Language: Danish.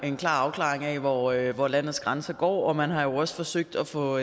en klar afklaring af hvor af hvor landets grænse går man har også forsøgt at få